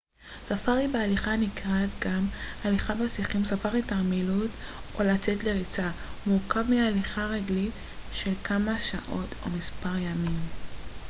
"ספארי בהליכה הנקרא גם "הליכה בשיחים" "ספארי תרמילאות" או "לצאת לריצה" מורכב מהליכה רגלית של כמה שעות או מספר ימים.